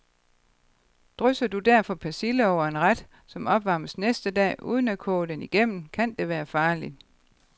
Drysser du derfor persille over en ret, som opvarmes næste dag, uden at koge den igennem, kan det være farligt.